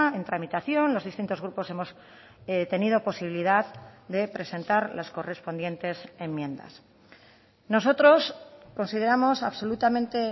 en tramitación los distintos grupos hemos tenido posibilidad de presentar las correspondientes enmiendas nosotros consideramos absolutamente